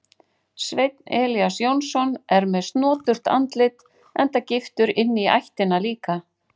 Sveinn Elías Jónsson er með snoturt andlit enda giftur inní ættina líka.